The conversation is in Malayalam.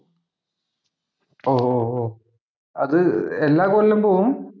ഓ, ഓ, ഒ. അത് എല്ലാം കൊല്ലം പോവും.